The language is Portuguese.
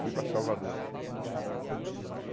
Fui para Salvador.